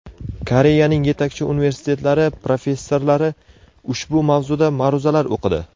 Koreyaning yetakchi universitetlari professorlari ushbu mavzuda ma’ruzalar o‘qidi.